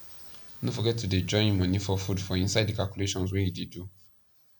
no forget to dey join money for food for inside the calculations wey u dey do